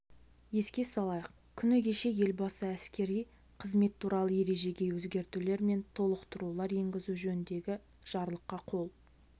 еске салайық күні кеше елбасы әскери қызмет туралы ережеге өзгертулер мен толықтырулар енгізу жөніндегі жарлыққа қол